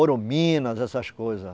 Ouro Minas, essas coisas.